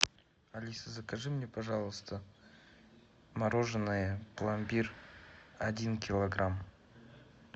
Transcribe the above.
алиса закажи мне пожалуйста мороженое пломбир один килограмм